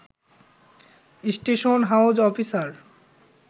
station house officer